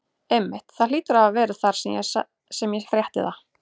Einmitt, það hlýtur að hafa verið það sem ég frétti sagði